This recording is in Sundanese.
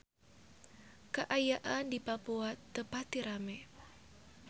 Kaayaan di Papua teu pati rame